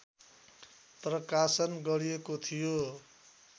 प्रकाशन गरिएको थियो।